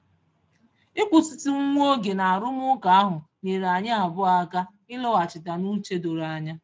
Ịkwụsitụ nwa oge n'arụmụka ahụ nyeere anyị abụọ aka ịlọghachite n'uche doro anya.